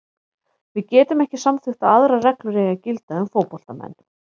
Við getum ekki samþykkt að aðrar reglur eigi að gilda um fótboltamenn.